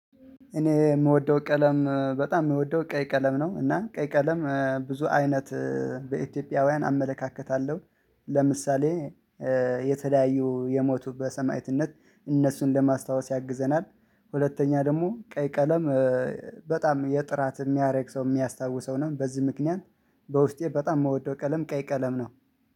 እኔ የምወደው ቀለም በጣም የምወደው ቀይ ቀለም ነው እና ቀይ ቀለም ብዙ አይነት በኢትዮጵያውያን አመለካከታለሁ። ለምሳሌ የተለያዩ የሞቱ በሰማዕትነት እነሱን ለማስታወስ ያግዘናል። ሁለተኛ ደግሞ ቀይ ቀለም። በጣም የጥራት የሚያደርግ ሰው የሚያስታውሰው ነው። በዚህ ምክንያት በውስጤ በጣም የምወደው ቀለም ቀይ ቀለም ነው።